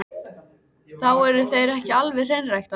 Þá eru þeir ekki alveg hreinræktaðir.